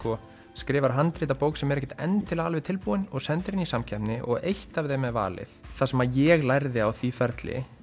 skrifar handrit að bók sem er ekkert endilega alveg tilbúin og sendir inn í samkeppni og eitt af þeim er valið það sem ég lærði á því ferli